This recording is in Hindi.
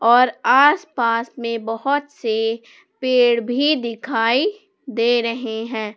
और आस पास में बहुत से पेड़ भी दिखाई दे रहे हैं।